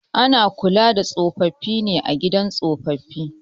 Ana kula da tsofaffi a gidan tsofaffi